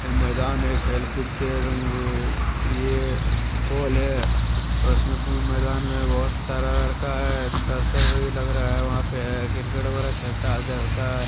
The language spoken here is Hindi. ये मैदान हैं ये खेल कुद के ये पोल हैं और उसमें मैदान में बहुत सारा लड़का है दर्शक भी है लग रहा है वहां पे है क्रिकेट वगैरह खेलता है। होता है --